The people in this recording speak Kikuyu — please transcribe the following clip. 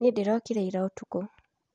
Niĩ ndĩrokire ira ũtukũ